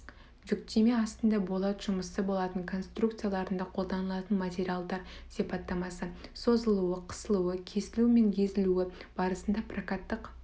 жүктеме астында болат жұмысы болат конструкцияларында қолданылатын материалдар сипаттамасы созылуы қысылуы кесілу мен езілуі барысында прокаттық